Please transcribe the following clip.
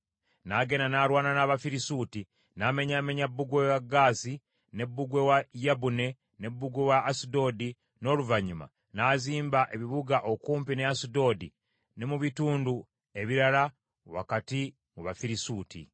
N’agenda n’alwana n’Abafirisuuti, n’amenyaamenya bbugwe wa Gaasi, ne bbugwe wa Yabune ne bbugwe wa Asudodi, n’oluvannyuma n’azimba ebibuga okumpi ne Asudodi ne mu bitundu ebirala wakati mu Bafirisuuti.